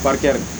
Barika